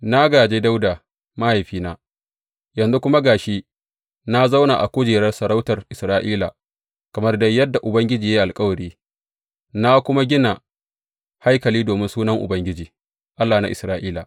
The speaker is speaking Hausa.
Na gāje Dawuda mahaifina, yanzu kuma ga shi na zauna a kujerar sarautar Isra’ila, kamar dai yadda Ubangiji ya yi alkawari, na kuma gina haikali domin Sunan Ubangiji, Allah na Isra’ila.